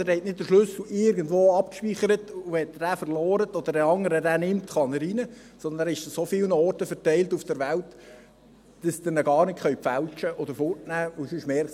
Also: Sie haben nicht den Schlüssel irgendwo abgespeichert, und wenn Sie ihn verlieren oder jemand anderes ihn nimmt, kann er hinein, sondern er ist an so vielen Orten auf der Welt verteilt, dass Sie ihn gar nicht fälschen oder wegnehmen können.